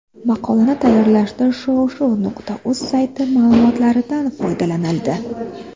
Maqolani tayyorlashda shov-shuv.uz sayti ma’lumotlaridan foydalanildi.